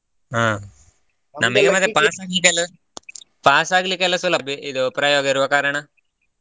ಹಾ ನಮಿಗೆ ಮತ್ತೆ pass ಆಗಲಿಕ್ಕೆ ಎಲ್ಲಾ pass ಆಗಲಿಕ್ಕೆ ಎಲ್ಲಾ ಸುಲಭ ಇದು ಪ್ರಯೋಗ ಇರುವ ಕಾರಣ.